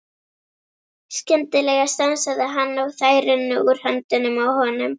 Skyndilega stansaði hann og þær runnu úr höndunum á honum.